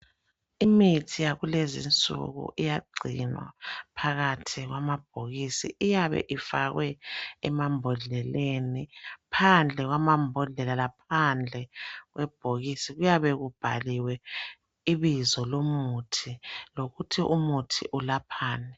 Imithi yakulezinsuku iyagcinwa phakathi kwamabhokisi, iyabe ifakwe emambodleleni. Phandle kwamambodlela laphandle kwebhokisi kuyabe kubhaliwe ibizo lomuthi lokuthi umuthi ulaphani.